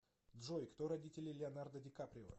джой кто родители леонардо ди каприо